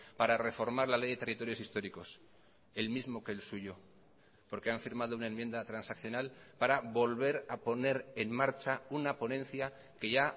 para reformar la ley de territorios históricos el mismo que el suyo porque han firmado una enmienda transaccional para volver a poner en marcha una ponencia que ya